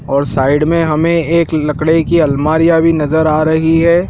और साइड में हमें एक लकड़े की अलमारियां भी नजर आ रही है।